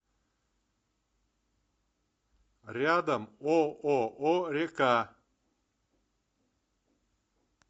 рядом ооо река